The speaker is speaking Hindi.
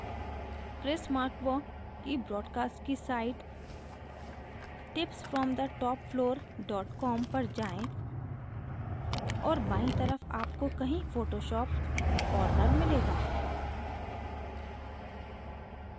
chris markwa की broadcast की site tips from the top floor dot com पर जाएँ और बायीं तरफ आपको कहीं photoshop corner मिलेगा